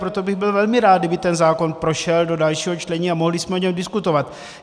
Proto bych byl velmi rád, kdyby ten zákon prošel do dalšího čtení a mohli jsme o něm diskutovat.